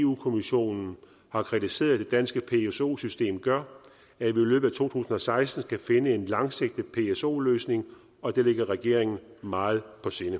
eu kommissionen har kritiseret det danske pso system gør at vi i løbet tusind og seksten skal finde en langsigtet pso løsning og det ligger regeringen meget på sinde